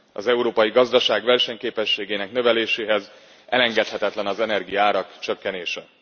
Az európai gazdaság versenyképességének növeléséhez elengedhetetlen az energiaárak csökkenése.